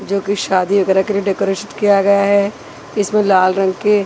जो की शादी वगैरा के लिए डेकोरेशन किया गया हैं इसमें लाल रंग के--